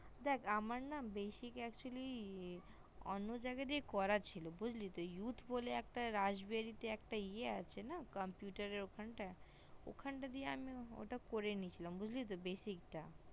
দেখ আমার না basic actually অন্য জায়গা দিয়া করার ছিল ভোট বলে রাসবেরিয়াতে একটা ইয়া আছে না computer ওখানটায় ওখানটা আমি টা করে নিয়েছিলাম basic টা